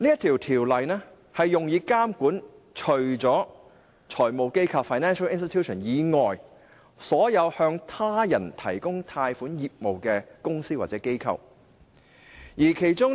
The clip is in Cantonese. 《條例》用以監管財務機構以外，所有經營向他人提供貸款的業務的公司或機構。